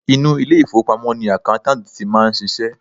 Inú ilé ìfowópamọ́ ni accountant ti máa ń ṣiṣẹ́.